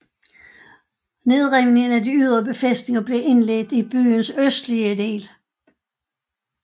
Nedrivningen af de ydre befæstninger blev indledt i byens østlige del